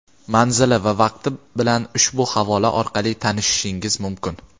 manzili va vaqti bilan ushbu havola orqali tanishishingiz mumkin.